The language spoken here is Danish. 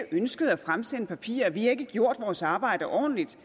ønsket at fremsende papirer at vi ikke har gjort vores arbejde ordentligt